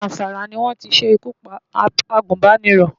Zamfara ni wọ́n ti ṣe ikú pa agùnbánirọ̀.